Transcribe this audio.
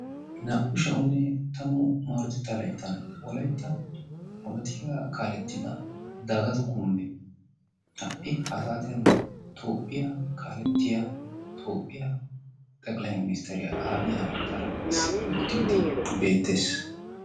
Naa"u sha"anne tammu maarotetta layttan wolaytta polotikaa kaalettida Dagato Kumbbee ha"i ha saatiyan Toophphiya kaalettiya Toophphiya xeqilayi ministeriya Abiyi Ahamedaara issippe uttiiddi beettees.